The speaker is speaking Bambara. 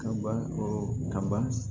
Kaba ɔ kaba